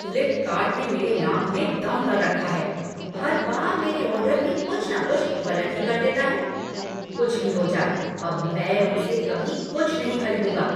Flipkart ने मेरे नाक में दम कर रखा है, हर बार मेरे ऑर्डर में कुछ न कुछ गलत कर ही देता है। कुछ भी हो जाए, अब मैं उनसे कभी कुछ नहीं खरीदूंगा।